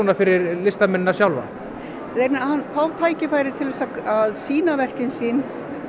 fyrir listamennina sjálfa þeir fá tækifæri til að sýna verkin sín